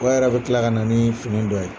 O yɛrɛ bɛ tila kana nii fini dɔ ye.